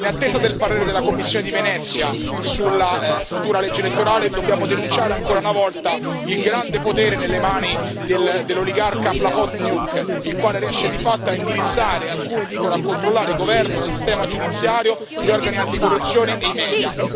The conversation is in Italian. In attesa del parere della commissione di Venezia sulla futura legge elettorale, dobbiamo denunciare ancora una volta il grande potere nelle mani dell'oligarca Plahotniuc, il quale riesce di fatto a indirizzare, alcuni dicono a controllare, governo, sistema giudiziario, gli organi anticorruzione e i media.